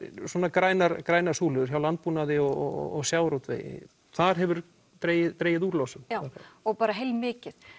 grænar grænar súlur hjá landbúnaði og sjávarútvegi þar hefur dregið dregið úr losun já og heilmikið